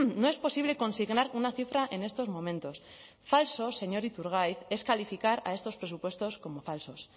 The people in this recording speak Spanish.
no es posible consignar una cifra en estos momentos falso señor iturgaiz es calificar a estos presupuestos como falsos